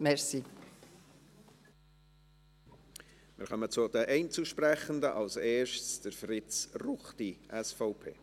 Wir kommen zu den Einzelsprechenden, als Erster Fritz Ruchti, SVP.